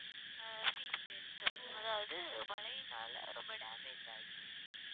ஆஹ் அதாவது மழையினால ரொம்ப damage ஆயி